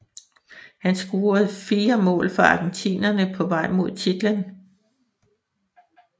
Han scorede fire mål for argentinerne på vej mod titlen